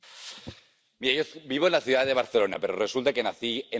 Vivo en la ciudad de Barcelona, pero resulta que nací en la ciudad de Madrid.